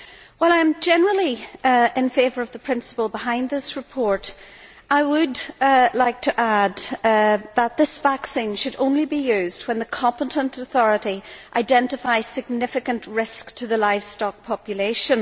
While I am generally in favour of the principle behind this report, I would like to add that this vaccine should only be used when the competent authority identifies significant risk to the livestock population.